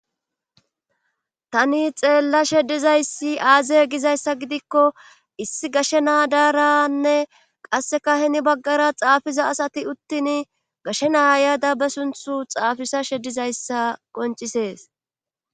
Tani xeellashe dizayssi aaze gizayssa gidikko issi gashe naadaaranne qasseka heni baggara xaafiza asati uttin gashe naa yada be sunthu xaafisa shedizayssa qoncisees.